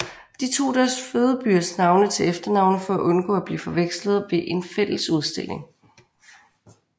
De tog deres fødebyers navne til efternavne for at undgå at blive forvekslet ved en fælles udstilling